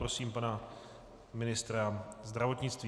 Prosím pana ministra zdravotnictví.